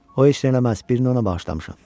O heç nə eləməz, birini ona bağışlamışam.